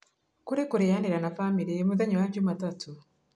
Kũrĩ kũrianira na bamĩrĩ mũthenya wa Jumatatu